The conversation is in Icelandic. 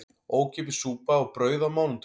Ókeypis súpa og brauð á mánudögum